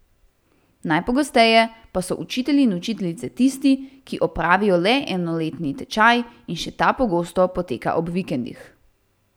Najpogosteje pa so učitelji in učiteljice tisti, ki opravijo le enoletni tečaj in še ta pogosto poteka ob vikendih.